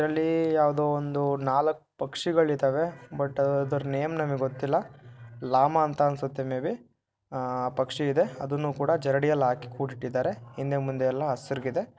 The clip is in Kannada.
ಇದರಲ್ಲಿ ಯಾವುದೋ ಒಂದು ನಾಲ್ಕು ಪಕ್ಷಿಗಳಿದವೆ ಬಟ್ ಅದರ ನೇಮು ನನಗೆ ಗೊತ್ತಿಲ್ಲ ಲಾಮ ಅಂಥ ಅನ್ಸುತ್ತೆ ಮೇ ಬಿ ಪಕ್ಷಿ ಇದೆ ಅದನ್ನು ಕೂಡ ಜರಡಿಯಲ್ಲಿ ಹಾಕಿ ಕೂಡಿ ಇಟ್ಟಿದ್ದಾರೆ. ಹಿಂದೆ ಮುಂದೆ ಎಲ್ಲ ಹಸ್ರುಗಿದೆ.